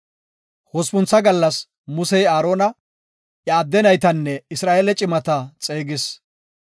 Hospuntha gallas Musey Aarona, iya adde naytanne Isra7eele cimata xeegis.